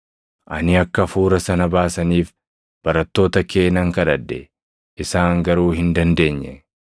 Ani akka hafuura sana baasaniif barattoota kee nan kadhadhe; isaan garuu hin dandeenye.”